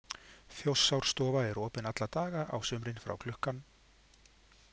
Þjórsárstofa er opin alla daga á sumrin frá klukkan